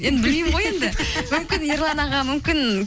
енді білмеймін ғой енді мүмкін ерлан аға мүмкін